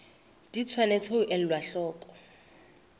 di tshwanetse ho elwa hloko